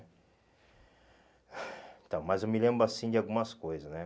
Então, mas eu me lembro assim de algumas coisas, né?